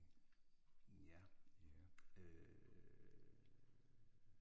Ja, øh